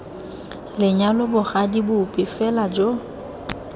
lenyalo bogadi bope fela jo